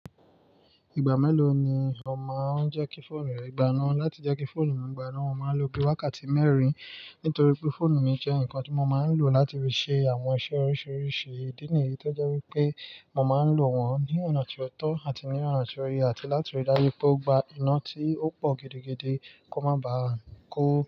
Ìgbà mélòó ni ò máa ń jẹ́ kí fóònù rẹ gbaná? Láti jẹ́ kí fóònù mi gbaná, mo máa ń lo bí i wákàtí mẹ́rin nítorí pé fóònù mi jẹ́ ǹkan tí mo máa ń lò láti fi ṣe àwọn iṣẹ́ oríṣiríṣi. Ídínìyì tọ́ jẹ́ wípé mo máa ń lò wọ́n ní ọ̀nà tí ó tọ́ àti ní ọ̀nà tí ó yẹ àti láti rí dájú pé ó gba iná tí ó pọ̀ gidi gidi kó má ba à ku.